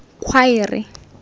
khwaere